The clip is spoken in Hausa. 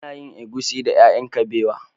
Ana yin egusi da ƴaƴan kabewa.